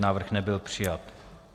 Návrh nebyl přijat.